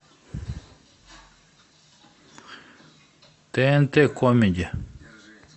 тнт камеди